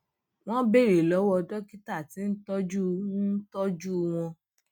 wón béèrè lówó dókítà tí ń tójú ń tójú àwọn